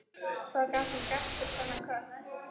Hvað gat hún gert fyrir þennan kött?